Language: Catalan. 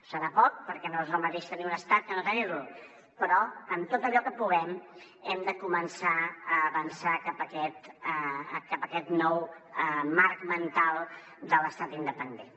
serà poc perquè no és el mateix tenir un estat que no tenir lo però en tot allò que puguem hem de començar a avançar cap a aquest nou marc mental de l’estat independent